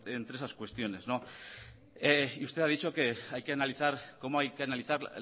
entre esas cuestiones usted ha dicho que hay que analizar cómo hay que analizar